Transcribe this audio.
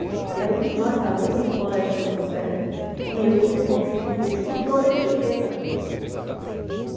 E éramos nós, alunas do Colégio São José, que íamos servir esse banquete, com toda a etiqueta.